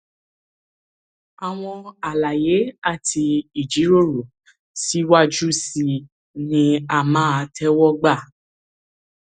àwọn àlàyé àti ìjíròrò síwájú sí i ni a máa tẹwọ gbà